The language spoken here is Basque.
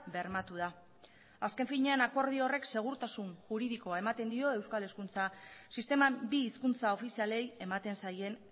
bermatu da azken finean akordio horrek segurtasun juridikoa ematen dio euskal hezkuntza sisteman bi hizkuntza ofizialei ematen zaien